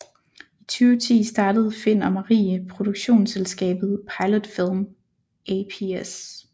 I 2010 startede Find og Marie produktionsselskabet Pilot Film ApS